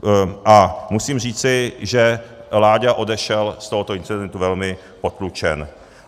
A musím říci, že Láďa odešel z tohoto incidentu velmi potlučen.